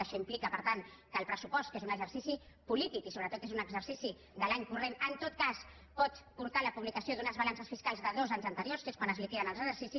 això implica per tant que el pressupost que és un exercici polític i sobretot és un exercici de l’any corrent en tot cas pot portar a la publicació d’unes balances fiscals de dos anys anteriors que és quan es liquiden els exercicis